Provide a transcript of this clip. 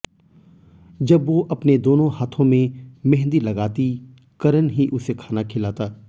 जब वो अपने दोनों हाथों में मेहंदी लगाती करन ही उसे खाना खिलाता